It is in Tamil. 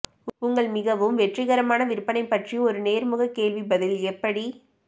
உங்கள் மிகவும் வெற்றிகரமான விற்பனை பற்றி ஒரு நேர்முக கேள்வி பதில் எப்படி